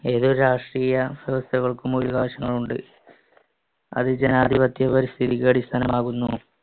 ഏതൊരു രാഷ്ട്രീയ വ്യവസ്ഥകള്‍ക്കും വിവിധ വശങ്ങളുണ്ട്. അത് ജനാധിപത്യ പരിസ്ഥിതിക്കടിസ്ഥാനമാകുന്നു.